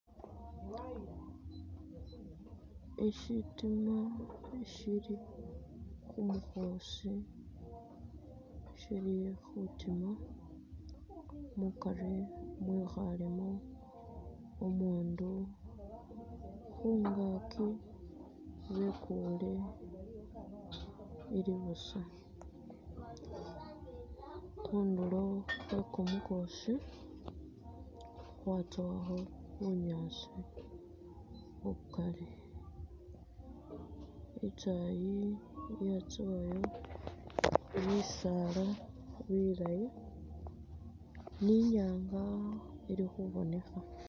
Ishi shitima shili khumukhoosi shili khutima mukari mwekhalemo umundu, khungaki bekule ili busa, khundulo khwe kumukhoosi khwatsowakho bunyaasi bukali, itaayi yatsowayo bisaala bilaayi ni inyanga ili khubonekha.